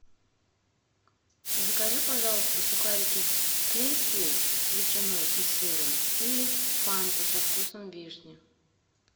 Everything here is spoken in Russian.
закажи пожалуйста сухарики клинские с ветчиной и сыром и фанту со вкусом вишни